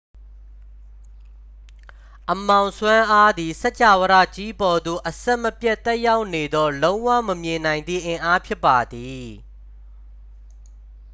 အမှောင်စွမ်းအားသည် စကြာဝဠာကြီးပေါ်သို့ အဆက်မပြတ်သက်ရောက်နေသော လုံးဝမမြင်နိုင်သည့်အင်အားဖြစ်ပါသည်